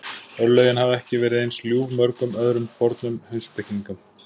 Örlögin hafa ekki verið eins ljúf mörgum öðrum fornum heimspekingum.